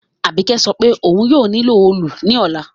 Àbíkẹ́ sopé oun yio nílò òòlù ní òla